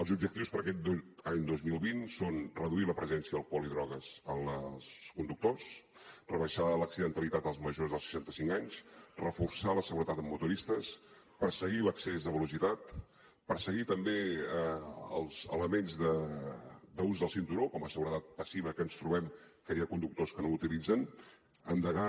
els objectius per a aquest any dos mil vint són reduir la presència d’alcohol i drogues als conductors rebaixar l’accidentalitat als majors de seixanta cinc anys reforçar la seguretat en motoristes perseguir l’excés de velocitat perseguir també els elements d’ús del cinturó com a seguretat passiva que ens trobem que hi ha conductors que no l’utilitzen endegar